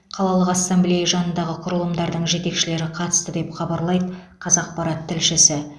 қалалық ассамблея жанындағы құрылымдардың жетекшілері қатысты деп хабарлайды қазақпарат тілшісі